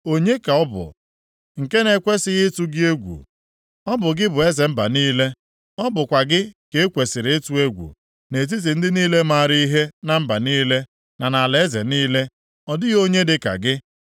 Onye ka ọ bụ nke na-ekwesighị ịtụ gị egwu? Ọ bụ gị bụ eze mba niile. Ọ bụkwa gị ka e kwesiri ịtụ egwu. Nʼetiti ndị niile maara ihe na mba niile, na nʼalaeze niile, ọ dịghị onye dịka gị.